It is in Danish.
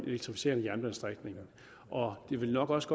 elektrificerede jernbanestrækninger det vil nok også